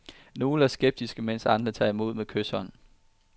Nogle er skeptiske, mens andre tager imod med kyshånd.